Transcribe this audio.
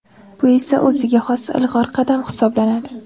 Bu esa o‘ziga xos ilg‘or qadam hisoblanadi.